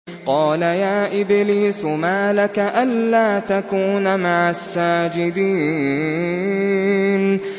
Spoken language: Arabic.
قَالَ يَا إِبْلِيسُ مَا لَكَ أَلَّا تَكُونَ مَعَ السَّاجِدِينَ